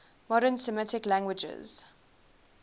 modern semitic languages